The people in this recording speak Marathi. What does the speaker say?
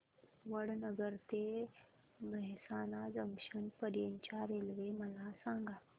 वडनगर ते मेहसाणा जंक्शन पर्यंत च्या रेल्वे मला सांगा